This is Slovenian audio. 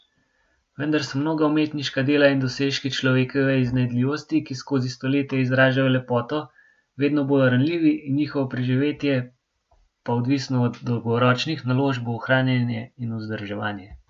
Vendar so mnoga umetniška dela in dosežki človekove iznajdljivosti, ki skozi stoletja izražajo lepoto, vedno bolj ranljivi, njihovo preživetje pa odvisno od dolgoročnih naložb v ohranjanje in vzdrževanje.